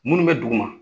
Minnu bɛ duguma